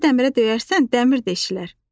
Dəmiri dəmirə döyərsən dəmir deşirlər.